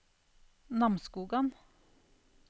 Namsskogan